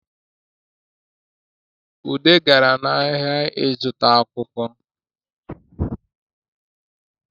Ude gara n’ahịa ịzụta akwụkwọ